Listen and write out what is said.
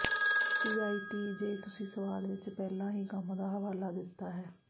CIT ਜੇ ਤੁਸੀਂ ਸਵਾਲ ਵਿਚ ਪਹਿਲਾਂ ਹੀ ਕੰਮ ਦਾ ਹਵਾਲਾ ਦਿੱਤਾ ਹੈ